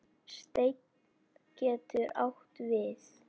Steinn getur átt við